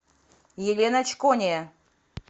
елена чкония